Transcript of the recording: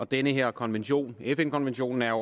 den her konvention fn konventionen er